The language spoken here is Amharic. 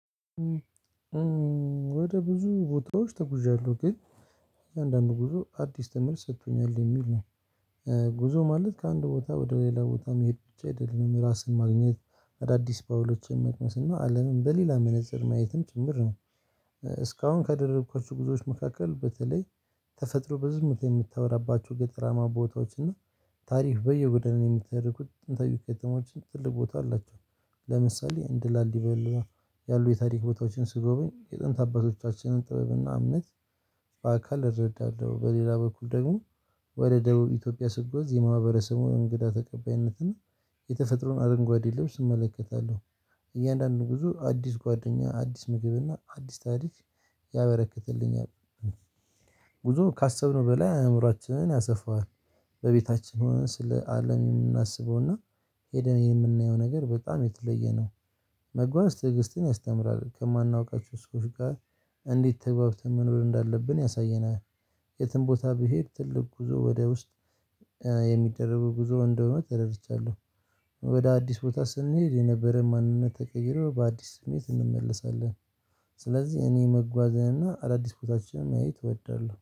ወደ ብዙ ቦታዎች ተጉዣለሁ ግን እያንዳንዱ ጉዞ አዲስ ትምህርት ሰጥቶኛል የሚል ነው። ጉዞ ማለት ከአንድ ቦታ ወደ ሌላ ቦታ መሄድ ብቻ አይደለም ራስን ማግኘት አዳዲስ ጳውሎስን መቅመስ እና አለምን በሌላ መነፀር ማየትም ጭምር ነው። እስካሁን ካደረኳችሁ ጉዞዎች መካከል በተለይ ተፈጥሮ በዝምታ የምታወራባቸው ገጠራማ ቦታዎች እና ታሪክ በየጎደለን የምትሄዱት ጥንታዊ ከተሞች ትልቅ ቦታ አላቸው። ለምሳሌ እንደ ላሊበላ ያሉ የታሪክ ቦታዎችን ስጎበኝ የጥንት አባቶቻችንን ጥበብና እምነት በአካል እረዳለሁ። በሌላ በኩል ደግሞ ወደ ደቡብ ኢትዮጵያ ስጓዝ የማህበረሰቡን እንግዳ ተቀባይነትና የተፈጥሮን አረንጓዴ ልብስ እመለከታለሁ። እያንዳንዱ ጉዞ አዲስ ጓደኛ አዲስ ምግብ እና አዲስ ታሪክ ያበረክትልኛል። ጉዞ ካሰብነው በላይ አእምሮአችንን ያሰፋዋል። በቤታችን ሆነን ስለ አለም የምናስበውና ሂደን የምናየው ነገር በጣም የተለየ ነው። መጓዝ ትዕግስትን ያስተምራል። ከማናውቃቸው ሰዎች ጋር እንዴት ተግባብተን መኖር እንዳለብን ያሳየናል። የትም ቦታ ብሄድ ትልቅ ጉዞ ወደ ውስጥ የሚደረጉ ጉዞ እንደሆነ ተደረድቻለሁ። ወደ አዲስ ቦታ ስንሄድ የነበረን ማንነት ተቀይሮ በአዲስ ስሜት እንመለሳለን። ስለዚህ እኔ መጓዝን እና አዳዲስ ቦታዎችን ማየት እወዳለሁ